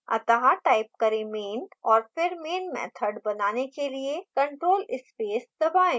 अत: type करें main और फिर main मैथड बनाने के लिए ctrl + space दबाएँ